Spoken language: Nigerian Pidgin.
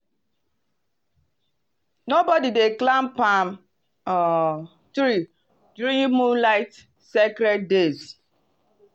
nobody dey climb palm um tree during moonlight sacred days.